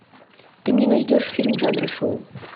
ты мне найдешь фильм жанра шоу